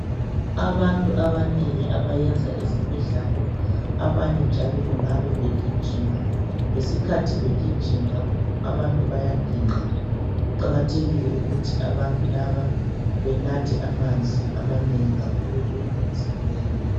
Abantu abanengi abayenza ezemidlalo, abanye njalo bengabe begijima. Ngesikhathi begijima, abantu bayaginqa . Kuqakathekile ukuthi abantu laba benathe amanzi amanengi kakhulu emzimbeni.